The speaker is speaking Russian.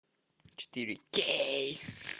четыре кей